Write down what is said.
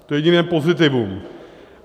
To je jediné pozitivum.